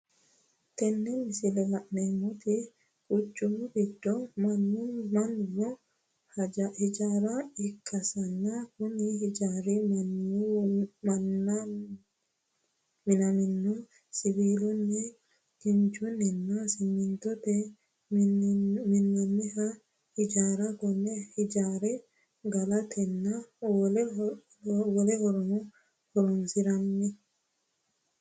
Tinni misile la'neemoti kuchumu gido munamino hijaara ikasinna kunni hijaari minaminohu siwiilunni, kinchunninna simintote minoonni hijaarati kunni hijaari galatenna wolehorora horoonsi'nanniho.